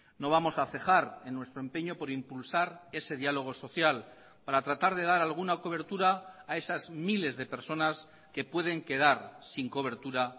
no vamos a cejar en nuestro empeño por impulsar ese diálogo social para tratar de dar alguna cobertura a esas miles de personas que pueden quedar sin cobertura